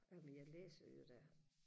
jamen jeg læser jo da